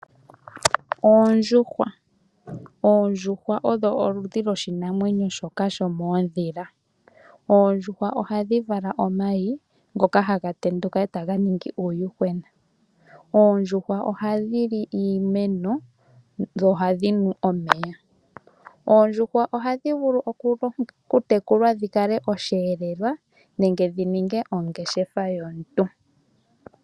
Oondjuhwa odho oludhi lwoshinamwenyo shoka shomoodhila. Oondjuhwa ohadhi vala omayi ngoka haga tenduka e taga ningi uuyuhwena. Oondjuhwa ohadhi li iimeno nosho woo ohadhi nu omeya. Oondjuhwa ohadhi vulu kutekulwa dhikale osheelelwa nenge dhininge ongeshefa yomuntu.